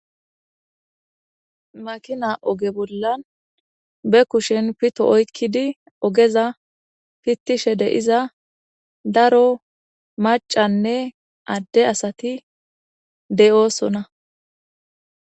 Makina oge bollan be kushen pito oykkidi ogeza pittishe de'iza daro maccanne adde asati de'osona.